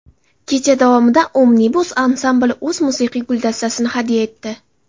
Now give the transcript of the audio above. Kecha davomida Omnibus ansambli o‘z musiqiy guldastasini hadya etdi.